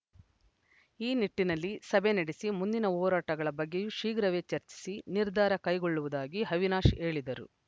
ಈ ನಿಟ್ಟಿನಲ್ಲಿ ಸಭೆ ನಡೆಸಿ ಮುಂದಿನ ಹೋರಾಟಗಳ ಬಗ್ಗೆಯೂ ಶೀಘ್ರವೇ ಚರ್ಚಿಸಿ ನಿರ್ಧಾರ ಕೈಗೊಳ್ಳುವುದಾಗಿ ಅವಿನಾಶ್‌ ಹೇಳಿದರು